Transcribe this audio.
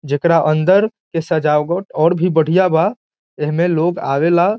जेकरा अंदर के सजावट और भी बढ़िया बा एहमे लोग आवेला।